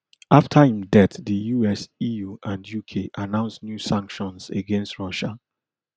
afta im death di us eu and uk announce new sanctions against russia